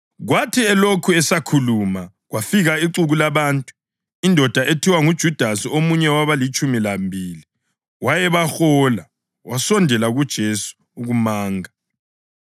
Kwathi elokhu esakhuluma kwafika ixuku labantu, indoda ethiwa nguJudasi omunye wabalitshumi lambili, wayebahola. Wasondela kuJesu ukumanga,